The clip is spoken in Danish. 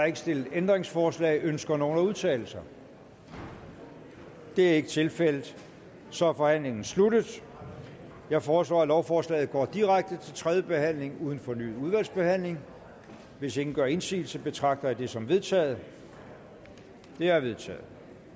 ikke stillet ændringsforslag ønsker nogen at udtale sig det er ikke tilfældet så er forhandlingen sluttet jeg foreslår at lovforslaget går direkte til tredje behandling uden fornyet udvalgsbehandling hvis ingen gør indsigelse betragter jeg det som vedtaget det er vedtaget